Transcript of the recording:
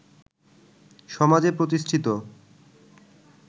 সমাজে প্রতিষ্ঠিত